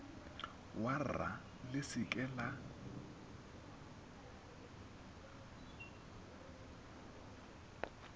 warra le se ke la